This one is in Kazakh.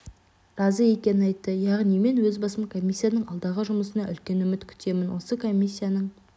разы екені айтты яғни мен өз басым комиссияның алдағы жұмысынан үлкен үміт күтемін осы комиссияның